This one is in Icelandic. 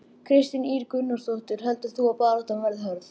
Kristín Ýr Gunnarsdóttir: Heldur þú að baráttan verði hörð?